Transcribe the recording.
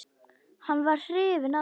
Hann var hrifinn af mér.